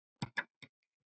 laglega fara lítið má.